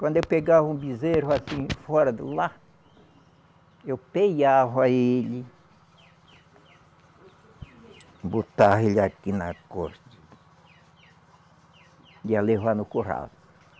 Quando eu pegava um bezerro assim, fora do lar, eu peiava ele, botava ele aqui nas costas, ia levar no curral.